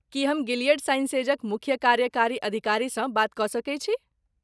की हम गिलियड साइंसेजक मुख्य कार्यकारी अधिकारीसँ बात कऽ सकैत छी?